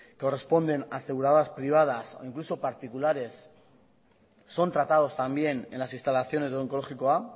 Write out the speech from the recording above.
corresponden a aseguradoras privadas o incluso particulares son tratados también en las instalaciones de onkologikoa